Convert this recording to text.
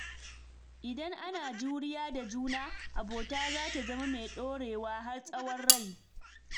Idan ana juriya da juna, abota za ta zama mai ɗorewa har tsawon rai.